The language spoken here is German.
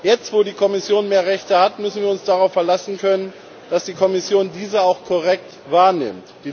Jetzt, wo die Kommission mehr Rechte hat, müssen wir uns darauf verlassen können, dass die Kommission diese auch korrekt wahrnimmt.